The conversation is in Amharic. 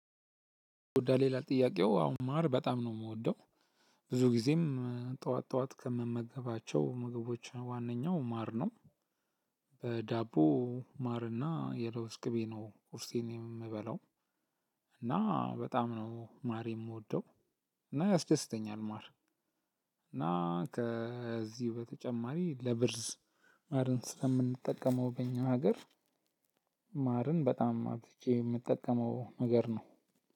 ጉዳይ ይላል ጥያቄው አሁን ማር በጣም ነው የምወደው። ብዙ ጊዜም ጠዋት ጠዋት ከምመገባቸው ምግቦች ዋነኛው ማር ነው። በዳቦ ማርና የለውዝ ቅቤ ነው ቁርሴን የምበላው። እና በጣም ነው ማር የምወደው እና ያስደስተኛል ማር። እና ከዚህ በተጨማሪ ለብርዝ ማርን ስለምንጠቀመው በእኛ ሀገር። ማርን በጣም አብዝቼ የምጠቀመው ነገር ነው።